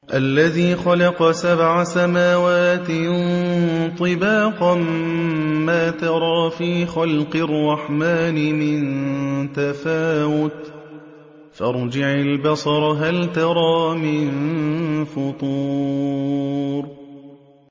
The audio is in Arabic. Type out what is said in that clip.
الَّذِي خَلَقَ سَبْعَ سَمَاوَاتٍ طِبَاقًا ۖ مَّا تَرَىٰ فِي خَلْقِ الرَّحْمَٰنِ مِن تَفَاوُتٍ ۖ فَارْجِعِ الْبَصَرَ هَلْ تَرَىٰ مِن فُطُورٍ